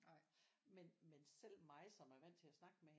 Men men selv mig som er vant til at snakke med hende